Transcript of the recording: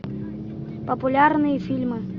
популярные фильмы